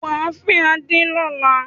Wà á fẹ́ Adé lọ́la!